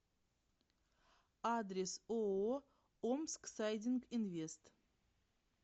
адрес ооо омсксайдингинвест